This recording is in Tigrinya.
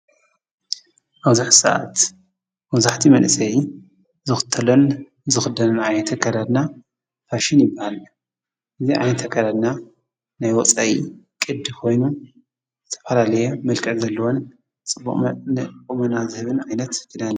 ኣብ እዙይ ስዓት መብዛሕቲኡ መንእሰይ ዝኽተሎን ዝኽደኖን ዓይነት ኣከዳድና ፋሽን ይብሃል። እዙይ ዓይነት ኣከዳድና ናይ ወፃኢ ቅዲ ኮይኑ ዝተፈላለየ መልክዕ ዘለወን ፅቡቅ ቆመናን ዝህብ ዓይነት ክዳን እዩ።